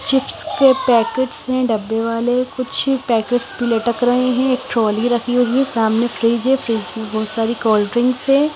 Chips के packets हैं डब्बे वाले कुछ पैकेट्स भी लटक रहे हैं एक ट्रॉली रखी हुई है सामने फ्रिज है फ्रिज में बहुत सारी कोल्ड्रिंक है।